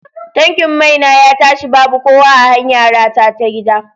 Tankin mai na ya tashi babu kowa a hanyara ta gida.